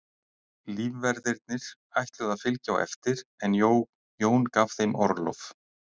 Lífverðirnir ætluðu að fylgja á eftir en Jón gaf þeim orlof.